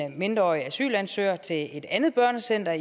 mindreårig asylansøger til et andet børnecenter